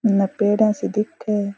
इन पेड़ा सी दिखे।